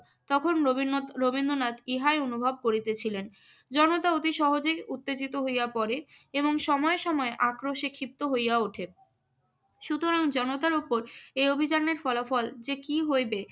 তখন রবীন্দ্রনথ~ রবীন্দ্রনাথ ইহাই অনুভব করিতেছিলেন। জনতা অতি সহজেই উত্তেজিত হইয়া পড়ে এবং সময়ে সময়ে আক্রোশে ক্ষিপ্ত হইয়া ওঠে। সুতরাং জনতার উপর এই অভিযানের ফলাফল যে কি হইবে